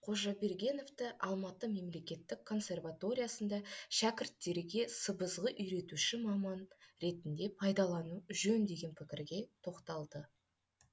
қожабергеновті алматы мемлекеттік консерваториясында шәкірттерге сыбызғы үйретуші маман ретінде пайдалану жөн деген пікірге тоқталды